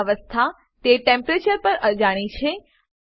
તેમની અવસ્થા તે ટેમ્પરેચર પર અજાણી છે